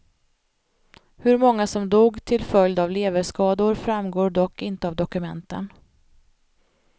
Hur många som dog till följd av leverskador framgår dock inte av dokumenten.